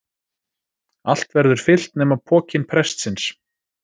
Allt verður fyllt nema pokinn prestsins.